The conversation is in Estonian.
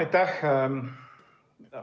Aitäh!